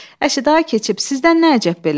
Əşi, da keçib sizdən nə əcəb belə?